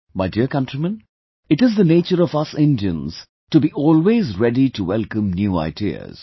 My dear countrymen, it is the nature of us Indians to be always ready to welcome new ideas